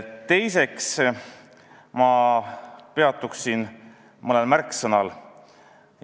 Teiseks peatun mõnel märksõnal.